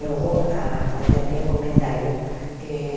Eu vou âh fazer meu comentário. Eh